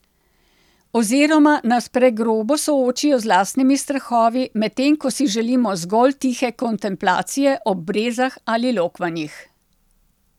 Oziroma nas pregrobo soočijo z lastnimi strahovi, medtem ko si želimo zgolj tihe kontemplacije ob brezah ali lokvanjih?